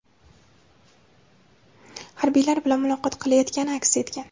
harbiylar bilan muloqot qilayotgani aks etgan.